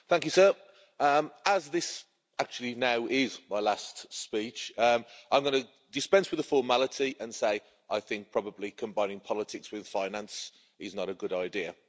Mr President, as this actually now is my last speech, I'm going to dispense with the formality and say I think probably combining politics with finance is not a good idea.